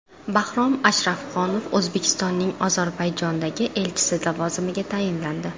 Bahrom Ashrafxonov O‘zbekistonning Ozarbayjondagi elchisi lavozimiga tayinlandi.